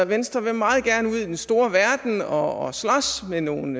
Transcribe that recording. venstre vil meget gerne ud i den store verden og slås med nogle